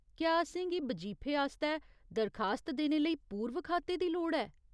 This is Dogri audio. क्या असेंगी बजीफे आस्तै दरखास्त देने लेई पूर्व खाते दी लोड़ ऐ ?